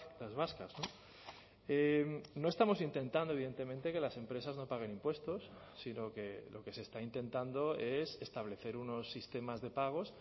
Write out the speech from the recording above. las vascas no estamos intentando evidentemente que las empresas no paguen impuestos sino que lo que se está intentando es establecer unos sistemas de pagos